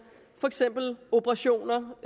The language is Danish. for eksempel operationer